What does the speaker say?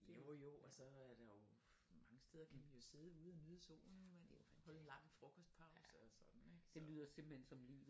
Jo jo og så er der jo mange steder kan man jo sidde ude og nyde solen holde lang frokostpause og sådan ik så